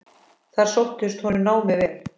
Þar sóttist honum námið vel.